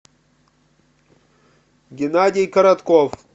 геннадий коротков